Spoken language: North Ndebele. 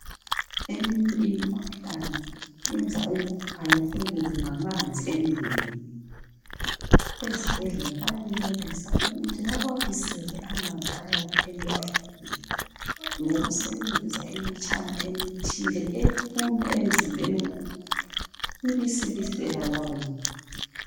Eminye imikhuhlane yenza umuntu alahlekelwe ngamanzi emzim ezibhedlela bayenelisa ukuthi bawabisela amanzi ayabe elahlekile ngokusebenzisa imitshana ethile emzimbeni ibisibisela lawo